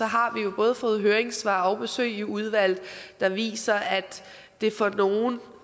har vi jo både fået høringssvar og besøg i udvalget der viser at det for nogle